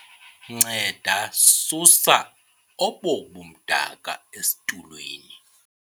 nceda susa obo bumdaka esitulweni